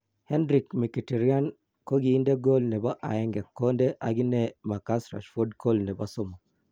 Henrikh Mkhitaryan kokinde Kool nebo aeng kondoo akinee Marcus Rashford Kool nebo somok .